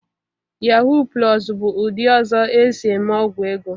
Yaahụ plọs bụ ụdị ọzọ esi-eme ọgwụ ego.